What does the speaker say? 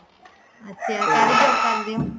ਅੱਛਾ ਕਾਹਦੀ job ਕਰਦੇ ਹੋ